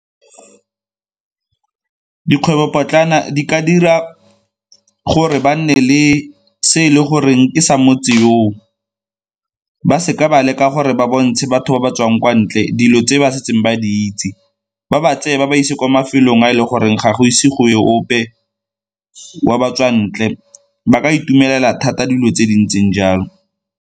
Dikgwebopotlana di ka dira gore ba nne le se e le goreng ke sa motse yoo, ba seka ba leka gore ba bontshe batho ba ba tswang kwa ntle dilo tse ba setseng ba di itse, ba ba tseye ba ba ise kwa mafelong a e le goreng ga go ise go e ope wa batswa ntle ba ka itumelela thata dilo tse di ntseng jalo.